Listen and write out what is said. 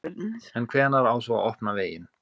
En hvenær á svo að opna veginn?